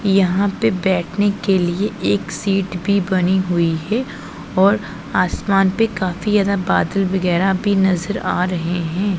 यहां पे बैठने के लिए एक सीट भी बनी हुई है और आसमान पर काफी ज्यादा बदल वगैरा भी नजर आ रहे हैं।